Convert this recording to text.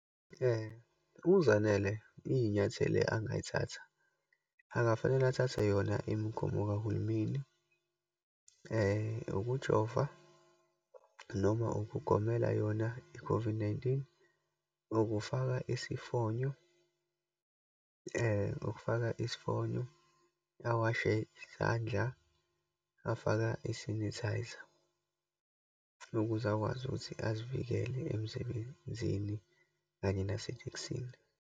UZanele iyinyathelo angayithatha, angfanele athathe yona imigomo kahulumeni. Ukujova, noma ukugomela yona i-COVID-19, ukufaka isifonyo, ukufaka isifonyo, awashe izandla, afaka isanithayiza ukuze akwazi ukuthi azivikele emsebenzini, kanye nasethekisini.